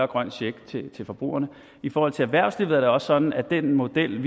grøn check til forbrugerne i forhold til erhvervslivet er det sådan at den model